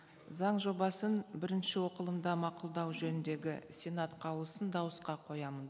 заң жобасын бірінші оқылымда мақұлдау жөніндегі сенат қаулысын дауысқа қоямын